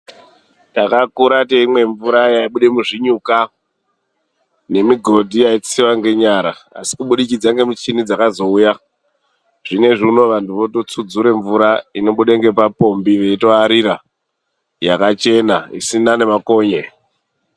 TAKAKURA TEIMWA MVURA YAIBUDA MUZVINYUKA NEMIGODHI YAITSIWA NENYARA ASI KUBUDIKIDZA NEMICHINI DZAKAZOUYA ZVINO ANHU VOTOTSUDZURA MVURA INOBUDE NAPAPOMBI EITOARIRA YAKACHENA ISINA NEMAKONYE